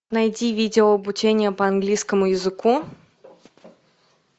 найди видео обучение по английскому языку